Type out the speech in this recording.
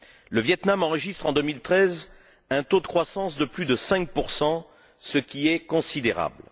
Le Viêt Nam enregistre en 2013 un taux de croissance de plus de 5, ce qui est considérable.